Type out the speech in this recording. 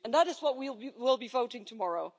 That is what we will be voting on tomorrow.